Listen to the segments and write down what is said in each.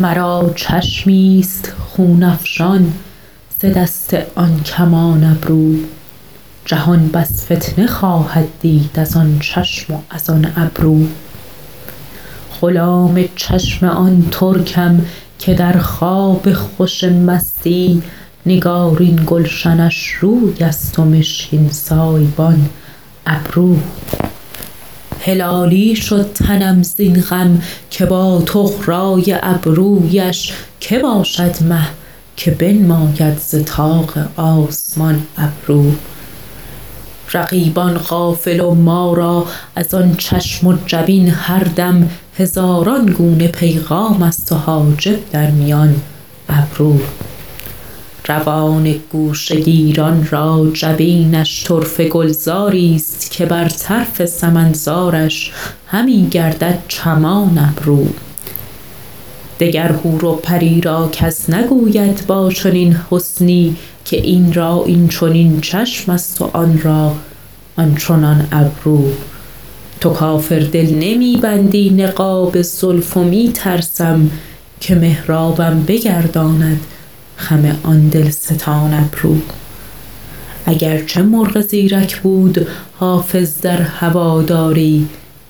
مرا چشمی ست خون افشان ز دست آن کمان ابرو جهان بس فتنه خواهد دید از آن چشم و از آن ابرو غلام چشم آن ترکم که در خواب خوش مستی نگارین گلشنش روی است و مشکین سایبان ابرو هلالی شد تنم زین غم که با طغرا ی ابرو یش که باشد مه که بنماید ز طاق آسمان ابرو رقیبان غافل و ما را از آن چشم و جبین هر دم هزاران گونه پیغام است و حاجب در میان ابرو روان گوشه گیران را جبینش طرفه گلزار ی ست که بر طرف سمن زارش همی گردد چمان ابرو دگر حور و پری را کس نگوید با چنین حسنی که این را این چنین چشم است و آن را آن چنان ابرو تو کافر دل نمی بندی نقاب زلف و می ترسم که محرابم بگرداند خم آن دل ستان ابرو اگر چه مرغ زیرک بود حافظ در هوادار ی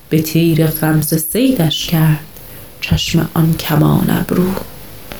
به تیر غمزه صیدش کرد چشم آن کمان ابرو